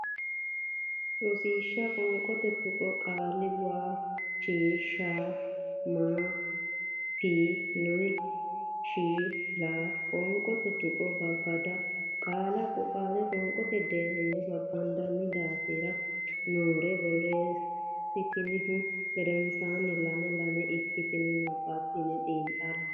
Rosiishsha Qoonqote Tuqqo Qaale waa chi sha man phi nok sha laq Qoonqote Tuqqo Babbada qaalla qoonqote deerrinni babbaddine daftari nera borreessitinihu gedensaanni lame lame ikkitinanni nabbabbinanni xiinxalle.